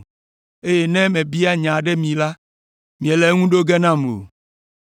eye ne mebia nya aɖe mi hã, miele eŋu ɖo ge nam o.